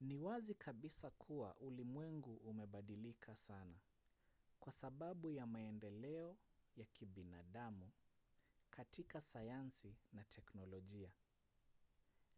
ni wazi kabisa kuwa ulimwengu umebadilika sana kwa sababu ya maendeleo ya kibinadamu katika sayansi na teknolojia